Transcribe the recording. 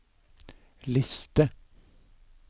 liste